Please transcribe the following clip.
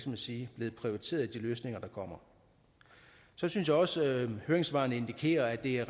man sige blevet prioriteret i de løsninger der kommer så synes jeg også at høringssvarene indikerer at det er